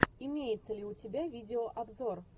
имеется ли у тебя видеообзор